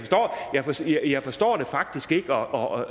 jeg forstår jeg forstår det faktisk ikke og